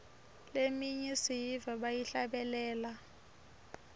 leminye siyiva bayihlabelela